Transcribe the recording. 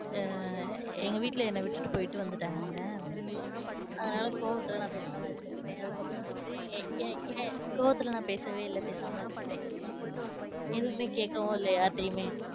ஆஹ் எங்க வீட்டுல என்ன விட்டுட்டு போய்ட்டு வந்துட்டாங்கல்ல. அதுனால கோவத்துல நான் பேசமா இருந்துகிட்டேன். அதுக்கப்பறம் வந்து யே யேன் யேன் கோவத்துல நான் பேசவே இல்ல பேசாம இருந்துட்டேன். எதுவுமே கேக்கவும் இல்ல யார்டையுமே.